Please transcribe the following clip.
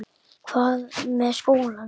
Hvað með skólann minn?